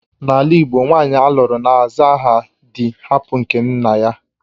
N'ala igbo, nwanyị alụrụ na-aza aha dị hapụ nke nna ya